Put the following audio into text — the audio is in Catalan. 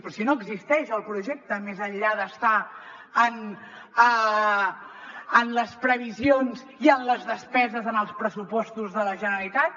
però si no existeix el projecte més enllà d’estar en les previsions i en les despeses en els pressupostos de la generalitat